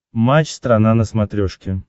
матч страна на смотрешке